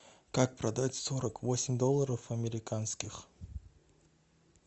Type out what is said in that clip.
как продать сорок восемь долларов американских